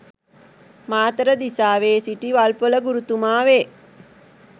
මාතර දිසාවේ සිටි වල්පොල ගුරුතුමා වේ.